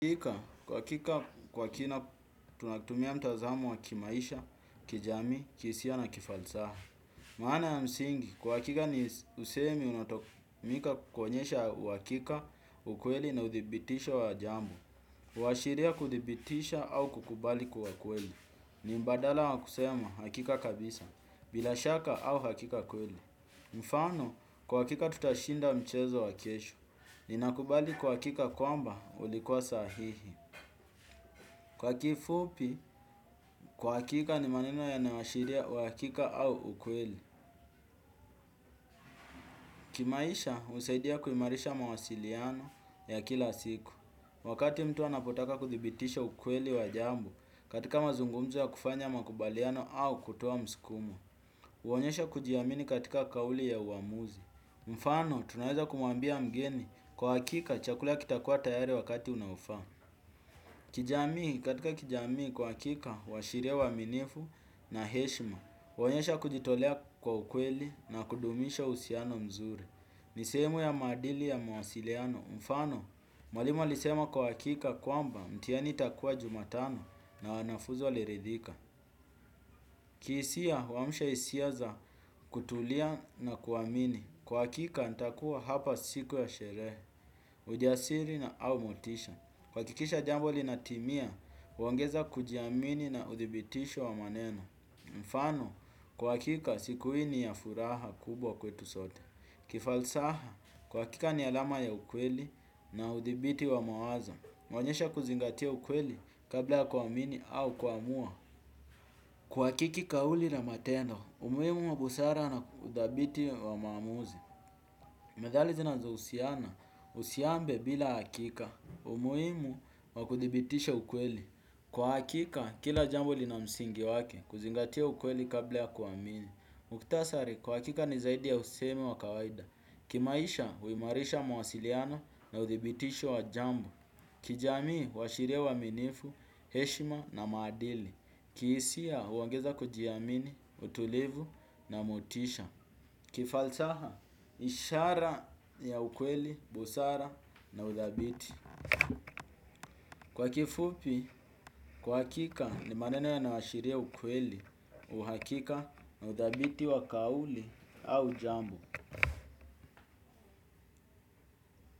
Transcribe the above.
Kwa kika, kwa kika kwa kina tunatumia mtazamo wa kimaisha, kijami, kisia na kifalsaha. Maana ya msingi, kwa kika ni usemi unatokumika kukonyesha wa kika, ukweli na uthibitisha wa jambo. Uwashiria kuthibitisha au kukubali kwa ukweli. Ni mbadala wa kusema, hakika kabisa, bila shaka au hakika ukweli. Mfano, kwa kika tutashinda mchezo wa kesho. Ninakubali kwa kika kwamba ulikuwa sahihi. Kwa kifupi kwa kika ni maneno ya nawoshiria uwakika au ukweli. Kimaisha usaidia kuimarisha mawasiliano ya kila siku. Wakati mtu anapotaka kuthibitisha ukweli wa jambo katika mazungumzo ya kufanya makubaliano au kutowa mskumo uonyesha kujiamini katika kauli ya uamuzi. Mfano tunaheza kumuambia mgeni kwa kika chakula kitakua tayari wakati unawufa. Kijamii katika kijamii kwa kika washiria uwaminifu na heshima. Wanyesha kujitolea kwa ukweli na kudumisha usiano mzuri. Nisemu ya madili ya muasiliano mfano mwalimu alisema kwa hakika kwamba mtihani itakuwa jumatano na wanafunzi waliridhika kihisia huamsha hisia za kutulia na kuamini kwa hakika nitakuwa hapa siku ya sherehe ujasiri na au motisha kuhakikisha jambo linatimia kuongeza kujiamini na uthibitisho wa maneno. Mfano, kwa hakika siku hii ni ya furaha kubwa kwetu sote. Kifalsaha, kwa hakika ni alama ya ukweli na udhibiti wa mawazo. Meonyesha kuzingatia ukweli kabla kuamini au kumua. Huhakiki kauli na matendo, umuhimu wa busara na udhabiti wa maamuzi. Methali zinazohusiana, usiambe bila hakika, umuhimu wa kuthibitisha ukweli. Kwa hakika, kila jambo lina msingi wake, kuzingatia ukweli kabla ya kuamini. Muktasari, kwa hakika ni zaidi ya usemi wa kawaida. Kimaisha, huimarisha mawasiliano na uthibitisho wa jambo. Kijamii, huashiria uaminifu, heshima na maadili. Kihisia, huongeza kujiamini, utulivu na motisha. Kifalsaha, ishara ya ukweli, busara na uthabiti kwa kifupi, kwa hakika ni maneno yanayoashiria ukweli. Uhakika na udhabiti wa kauli au jambo.